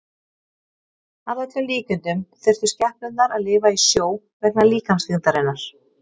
Að öllum líkindum þyrftu skepnurnar að lifa í sjó vegna líkamsþyngdarinnar.